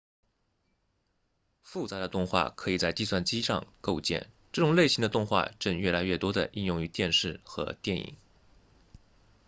复杂的动画可以在计算机上构建这种类型的动画正越来越多地应用于电视和电影